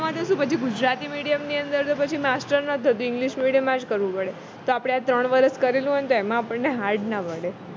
આમ તો શું પછી ગુજરાતી medium ની અંદર તો પછી master english medium માં જ કરવું પડે તો આપણે આ ત્રણ વર્ષ કરેલું હોય ને તો એમાં આપણને hard ન મળે